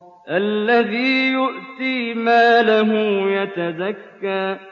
الَّذِي يُؤْتِي مَالَهُ يَتَزَكَّىٰ